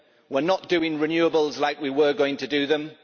We are not doing renewables like we were going to do them